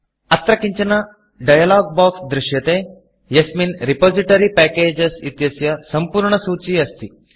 अत्र किञ्चन डायलॉग Boxडैलोग् बोक्स् दृश्यते यस्मिन् रिपोजिटरी Packagesरिपोसिटरि पेकेजस् इत्यस्य सम्पूर्णसूची अस्ति